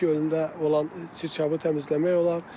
Bu gölündə olan çirkabı təmizləmək olar.